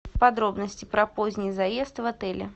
подробности про поздний заезд в отеле